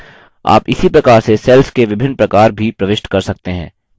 आप इसी प्रकार से cells के विभिन्न प्रकार भी प्रविष्ट कर सकते हैं